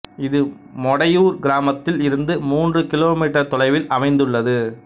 இது மொடையூர் கிராமத்தில் இருந்து மூன்று கிலோமீட்டர் தொலைவில் அமைந்துள்ளது